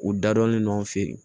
U dadɔnlen no an fɛ yen